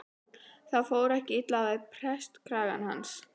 Það fór ekki illa við prestakragann hans.